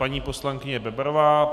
Paní poslankyně Bebarová.